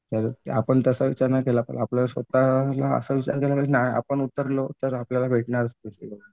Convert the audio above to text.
तर आपण तसं विचार नाही केला आपण स्वतःला असं विचार आपण उतरलो तर आपल्याला भेटणारच कशी पण.